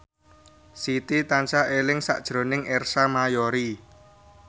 Siti tansah eling sakjroning Ersa Mayori